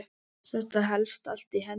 Þetta helst allt í hendur.